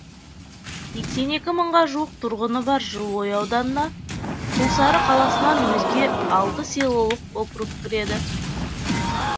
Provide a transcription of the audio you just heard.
сексен екі мыңға жуық тұрғыны бар жылыой ауданына құлсары қаласынан өзге алты селолық округ кіреді